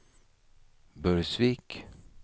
Burgsvik